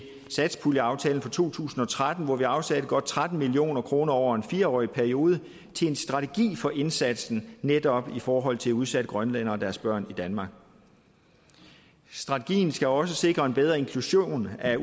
satspuljeaftalen for to tusind og tretten hvor vi afsatte godt tretten million kroner over en fireårig periode til en strategi for indsatsen netop i forhold til udsatte grønlændere og deres børn i danmark strategien skal også sikre en bedre inklusion af